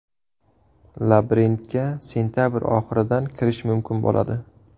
Labirintga sentabr oxiridan kirish mumkin bo‘ladi.